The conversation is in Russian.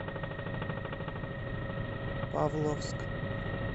павловск